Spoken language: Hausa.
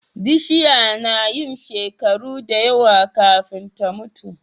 Bishiya nayin shekaru dayawa kafin ta mutu